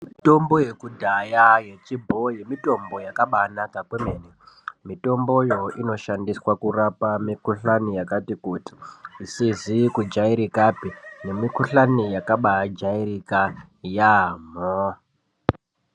Mitombo yekudhaya yechibhoyi mitombo yakabaanaka kwemene. Mitombo iyo inoshandiswa kurapa mikuhlani yakati kuti, isizi kujairikapi nemikuhlani yakabaajarika yaamho.